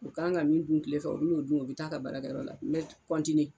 O kan ka min dun kile fɛ o bi n'o dun o bi t'a ka baarakɛ yɔrɔ la n bɛ kɔntiniye